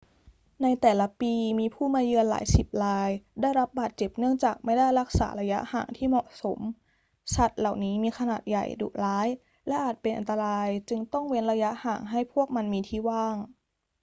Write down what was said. ในแต่ละปีมีผู้มาเยือนหลายสิบรายได้รับบาดเจ็บเนื่องจากไม่ได้รักษาระยะห่างที่เหมาะสม สัตว์เหล่านี้มีขนาดใหญ่ ดุร้าย และอาจเป็นอันตราย จึงต้องเว้นระยะห่างให้พวกมันมีที่ว่าง